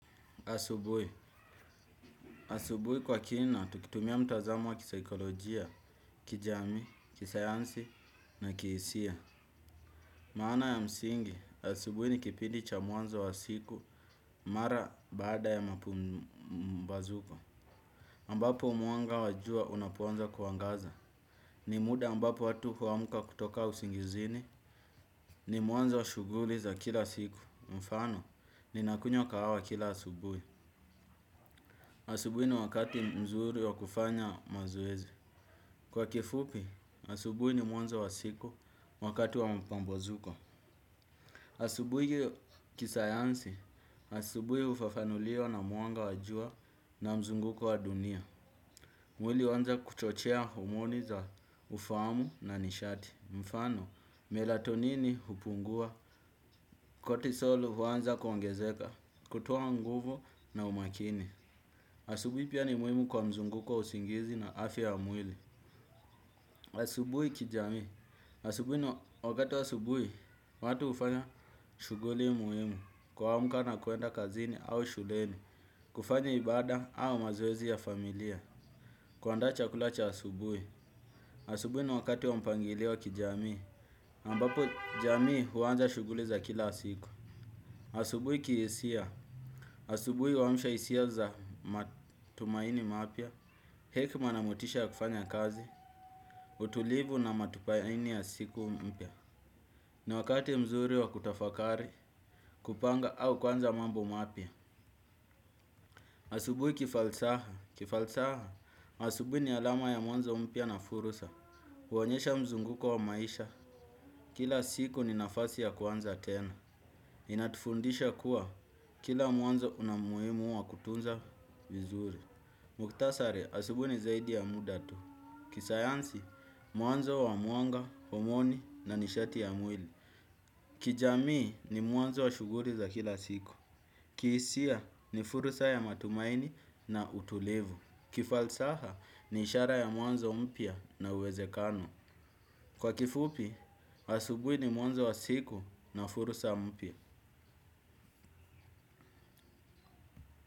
Asubui. Asubui kwa kina, tukitumia mtazamo wa kisaikolojia, kijamii, kisayansi na kiisia. Maana ya msingi, asubui ni kipidi cha mwanzo wa siku mara baada ya mapambazuko. Mbapo mwanga wa jua unapo anza kuangaza. Ni muda ambapo watu huamka kutoka usingizini. Ni muanzo wa shuguli za kila siku. Mfano, ninakunywa kahawa kila asubui. Asubuwi ni wakati mzuri wa kufanya mazoezi. Kwa kifupi, asubuwi ni mwanzo wa siku wakati wa mapambazuko. Asubuwi kisayansi, asubuwi ufafanuliwa na mwanga wa jua na mzunguko wa dunia. Mwili uanza kuchochea homoni za ufaamu na nishati. Mfano, melatonini hupungua, kotisol huanza kuangezeka, kutoa nguvu na umakini. Asubui pia ni muimu kwa mzunguko wa usingizi na afya ya mwili. Asubui kijamii. Asubui ni wakati wa asubui watu hufanya shuguli muimu. Kwamka na kwenda kazini au shuleni. Kufanya ibada au mazoezi ya familia. Kwandaa chakula cha asubui. Asubui ni wakati wa mpangilio wa kijamii. Ambapo jamii huanza shuguli za kila siku. Asubui kiesia. Asubui uamsha isia za matumaini mapya. Hekma na motisha ya kufanya kazi, utulivu na matupayaini ya siku mpya. Ni wakati mzuri wa kutafakari, kupanga au kwanza mambo mapya. Asubui kifalsaha, kifalsaha. Asubui ni alama ya mwanzo mpya na fursa. Huonyesha mzunguko wa maisha, kila siku ni nafasi ya kuanza tena. Inatufundisha kuwa, kila mwanzo unamuimu wa kutunza vizuri. Mukhtasari, asubui ni zaidi ya muda tu. Kisayansi, muanzo wa mwanga, homoni na nishati ya mwili kijamii ni muanzo wa shuguri za kila siku. Kiisia ni fursa ya matumaini na utulivu. Kifalsaha ni ishara ya mwanzo mpya na uwezekano. Kwa kifupi, asubui ni mwanzo wa siku na fursa mpya.